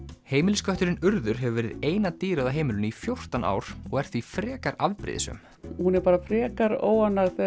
heimiliskötturinn Urður hefur verið eina dýrið á heimilinu í fjórtán ár og er því frekar afbrýðisöm hún er bara frekar óánægð